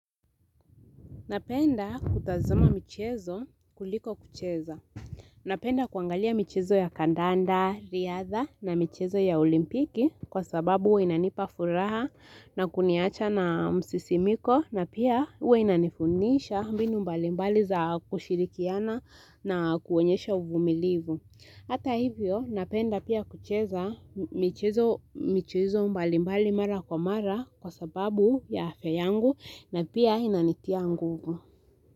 Napenda kutazama michezo kuliko kucheza. Napenda kuangalia michezo ya kandanda, riadha na michezo ya olimpiki kwa sababu we inanipa furaha na kuniacha na msisimiko na pia huw inanifundisha mbinu mbali mbali za kushirikiana na kuonyesha uvumilivu. Hata hivyo, napenda pia kucheza mchezo mbalimbali mara kwa mara kwa sababu ya afya yangu na pia inanitia nguvu.